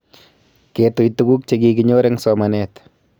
Ketuy tuguk che kikinyor eng' somanet